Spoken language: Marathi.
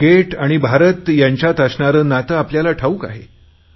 क्रिकेट आणि भारत यांच्यात असणारे नाते आपल्याला ठाऊक आहे